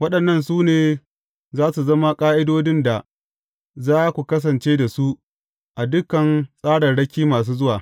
Waɗannan su ne za su zama ƙa’idodin da za ku kasance da su, a dukan tsararraki masu zuwa.